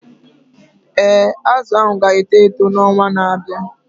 Ee, azụ ahu ga-eto eto n'ọnwa na-abịa.